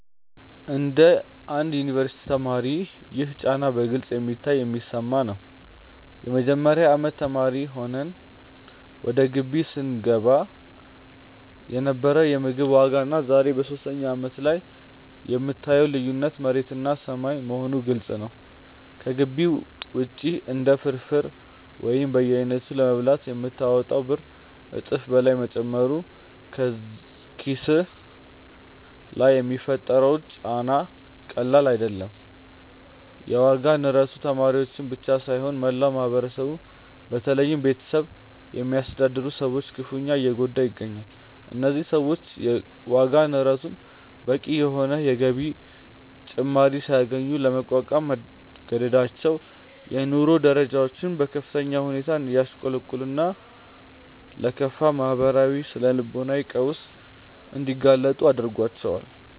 እንደ አንድ የዩኒቨርሲቲ ተማሪ ይህ ጫና በግልጽ የሚታይና የሚሰማ ነው። የመጀመሪያ አመት ተማሪ ሆነህ ወደ ግቢ ስትገባ የነበረው የምግብ ዋጋና ዛሬ በሶስተኛ አመትህ ላይ የምታየው ልዩነት መሬትና ሰማይ መሆኑ ግልጽ ነው። ከግቢ ውጪ አንድ ፍርፍር ወይም በየአይነቱ ለመብላት የምታወጣው ብር እጥፍ በላይ መጨመሩ በኪስህ ላይ የሚፈጥረው ጫና ቀላል አይደለም። የዋጋ ንረቱ ተማሪዎችን ብቻ ሳይሆን መላውን ማህበረሰብ በተለይም ቤተሰብ የሚያስተዳድሩ ሰዎችን ክፉኛ እየጎዳ ይገኛል። እነዚህ ሰዎች የዋጋ ንረቱን በቂ የሆነ የገቢ ጭማሪ ሳያገኙ ለመቋቋም መገደዳቸው የኑሮ ደረጃቸው በከፍተኛ ሁኔታ እንዲያሽቆለቁልና ለከፋ ማህበራዊና ስነ-ልቦናዊ ቀውስ እንዲጋለጡ ያደርጋቸዋል።